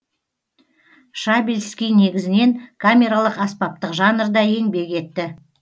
шабельский негізінен камералық аспаптық жанрда еңбек етті